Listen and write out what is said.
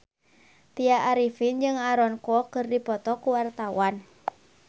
Tya Arifin jeung Aaron Kwok keur dipoto ku wartawan